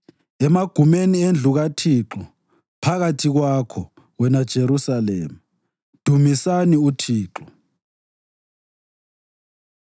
emagumeni endlu kaThixo phakathi kwakho, wena Jerusalema. Dumisani uThixo.